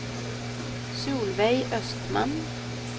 Solveig Östman